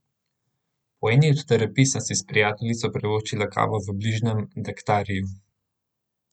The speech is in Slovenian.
Po eni od terapij sem si s prijateljico privoščila kavo v bližnjem Daktariju.